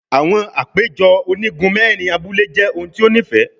Awọn apejọ onigun mẹrin abule jẹ ohun ti o nifẹ